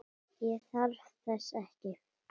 Ég þarf þess ekki.